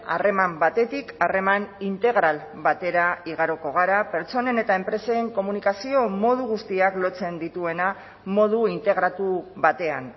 harreman batetik harreman integral batera igaroko gara pertsonen eta enpresen komunikazio modu guztiak lotzen dituena modu integratu batean